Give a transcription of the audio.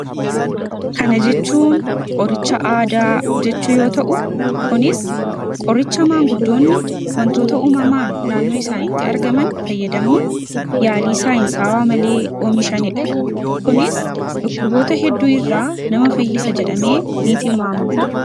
kana jechuun qoricha aadaa jechuu yoo ta'u kunis qoricha maanguddoonni wantoota umamaan naannoo isaanitti argaman fayyadamuun yaalii saa'in saawaa malee oomishanii dha kunis dhukkuboota hedduu irraa nama fayyisa jedhamee ni tilmaamama